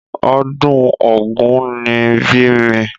Ọdún ògún ni bí mi.